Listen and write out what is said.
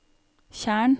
tjern